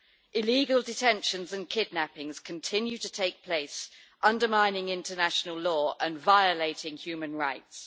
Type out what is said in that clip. Illegal detentions and kidnappings continue to take place, undermining international law and violating human rights.